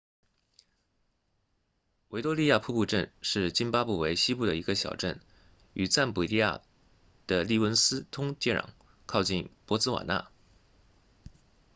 维多利亚瀑布镇是津巴布韦西部的一个小镇与赞比亚的利文斯通接壤靠近博茨瓦纳